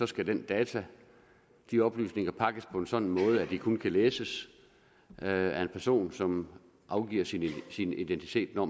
skal de data de oplysninger pakkes på en sådan måde at de kun kan læses af en person som opgiver sin sin identitet når